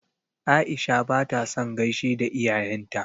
Aisha ba ta son gaishe da iyayen ta.